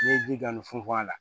N'i ye ji dɔɔni funfun a la